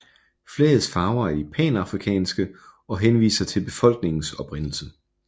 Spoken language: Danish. Flagets farver er de panafrikanske og henviser til befolkningens oprindelse